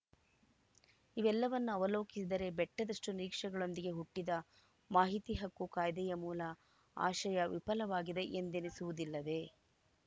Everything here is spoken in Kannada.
ಇವೆಲ್ಲವನ್ನು ಅವಲೋಕಿಸಿದರೆ ಬೆಟ್ಟದಷ್ಟುನಿರೀಕ್ಷೆಗಳೊಂದಿಗೆ ಹುಟ್ಟಿದ ಮಾಹಿತಿ ಹಕ್ಕು ಕಾಯ್ದೆಯ ಮೂಲ ಆಶಯ ವಿಫಲವಾಗಿದೆ ಎಂದೆನಿಸುವುದಿಲ್ಲವೇ